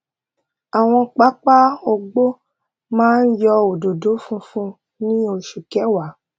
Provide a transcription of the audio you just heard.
àwọn pápá ògbó máa ń yọ òdòdó funfun ní oṣù kẹwa